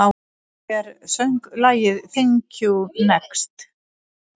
Hver söng lagið Thank you, next?